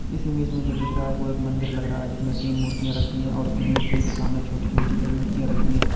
इस इमेज में जो दिख रहा है वो एक मंदिर लग रहा है जिसमें तीन मूर्तियां रखी है और उन मूर्तियों के सामने छोटी छोटी कई मूर्तियां रखी है।